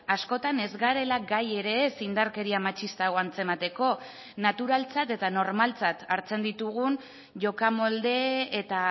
askotan ez garela gai ere ez indarkeria matxista hau antzemateko naturaltzat eta normaltzat hartzen ditugun jokamolde eta